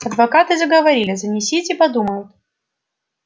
адвокаты заговорили занесите подумают